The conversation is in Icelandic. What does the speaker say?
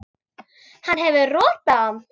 Hann hefur rotað hann!